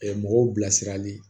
mɔgɔw bilasirali